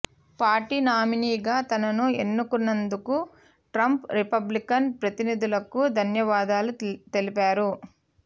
party నామినీగా తనను ఎన్నుకున్నందుకు ట్రంప్ రిపబ్లికన్ ప్రతినిధులకు ధన్యవాదాలు తెలిపారు